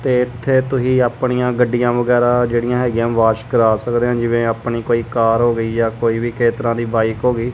ਤੇ ਇੱਥੇ ਤੁਸੀਂ ਆਪਣੀਆ ਗੱਡੀਆਂ ਵਗੈਰਾ ਜੇਹੜੀਆਂ ਹੈਗਿਆਂ ਵੋਸ਼ ਕਰਾ ਸਕਦੇ ਹਾਂ ਜਿਵੇਂ ਆਪਣੀ ਕੋਈ ਕਾਰ ਹੋ ਗਈ ਜਾ ਕੋਈ ਵੀ ਕਿਸੇ ਤਰ੍ਹਾਂ ਦੀ ਬਾਇਕ ਹੋ ਗਈ।